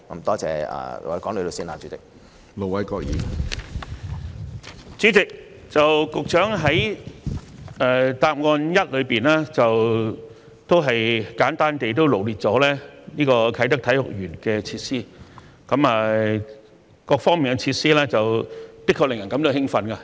主席，局長已在主體答覆第一部分，簡單臚列啟德體育園的設施，各方面設施的確令人感到興奮。